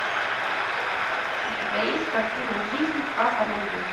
у тебя есть картина жизнь как она есть